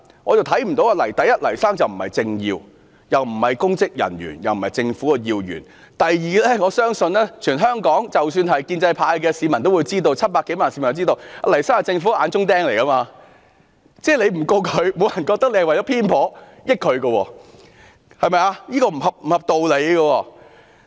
第一，黎先生既不是政治人物，也不是公職人員，更不是政府要員；第二，我相信全香港即使是建制派的市民也知道 ，700 多萬名市民也知道，黎先生是政府的眼中釘，政府不檢控他，不會有人認為是偏頗，這是不合理的。